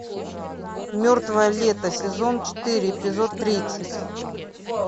мертвое лето сезон четыре эпизод тридцать